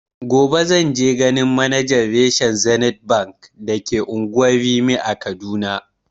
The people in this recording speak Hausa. Gobe zanje ganin manajan rashen zenith bank da ke unguwar rimi a kaduna